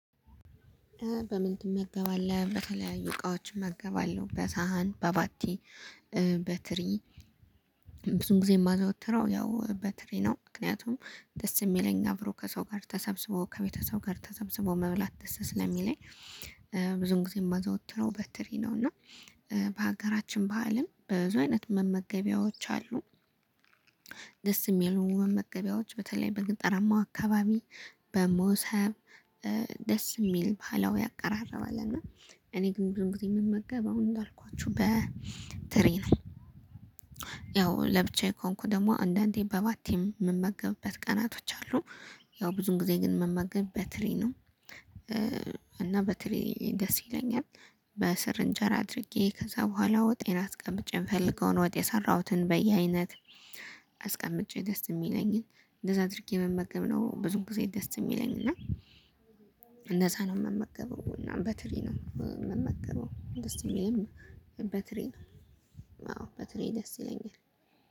በምን ትመገባለህ? በተለያዩ እቃዎችም እመገባለሁ በሳህን በባቲ በትሪ ብዙን ጊዜ የማዘወትረው ያው በትሪ ነው ምክንያቱም ደስ የሚለኝ አብሮ ከሰው ጋር ተሰብስበው ከቤተሰብ ጋር ተሰብስቦ መብላት ደስ ስለሚለኝ። ብዙን ጊዜ የማዘወትረው በትሪ ነው። እና በሀገራችን ባህልም በብዙ አይነት መመገቢያዎች አሉ። ደስ የሚሉ መመገቢያዎች በተለይ በገጠራማው አካባቢ በሞሰብ ደስ የሚል ባህላዊ አቀራረብ አለ። እና እኔ ግን ብዙ ጊዜ የምመገበው እንዳልኳችሁ በትሪ ነው። ለብቻዬ ከሆንኩ ደግሞ አንዳንዴ በባቲ የምመገብበት ቀናቶች አሉ። ያው ብዙውን ጊዜ ግን ምመገብ በትሪ ነው። እና በትሪ ደስ ይለኛል። በስር እንጀራ አድርጌ ከዛ በኋላ ወጤን አስቀምጬ የምፈልገውን ወጥ የሰራሁትን በየአይነት አስቀምጬ ደስ የሚለኝን እንደዛ አድርጌ መመገብ ነው። ብዙ ጊዜ ደስ የሚለኝ እና። እንደዛ ነው የምመገበው እና በትሪ ነው የምመገበው ደስ የሚልም በትሪ አዎ በትሪ ደስ ይለኛል